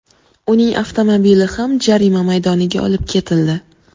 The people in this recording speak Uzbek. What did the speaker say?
Uning avtomobili ham jarima maydoniga olib ketildi.